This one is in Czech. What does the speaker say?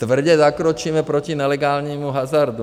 Tvrdě zakročíme proti nelegálnímu hazardu.